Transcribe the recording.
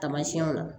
Tamasiyɛnw la